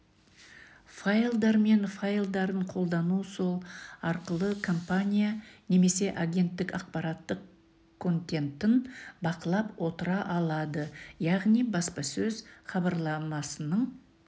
файлдар мен файлдарын қолдану сол арқылы компания немесе агенттік ақпараттық контентін бақылап отыра алады яғни баспасөз хабарламасының